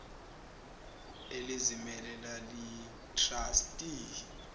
elizimele laliyi trustee